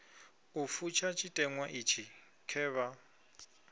u fusha tshiteṅwa itshi khevha